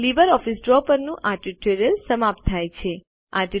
LibreOffice Draw પરનું આ tutorial સમાપ્ત થાય છે